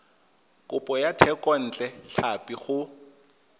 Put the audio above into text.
kopo ya thekontle tlhapi go